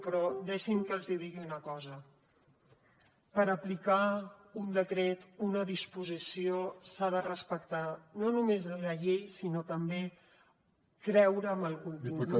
però deixin que els digui una cosa per aplicar un decret una disposició s’ha de respectar no només la llei sinó també creure en el contingut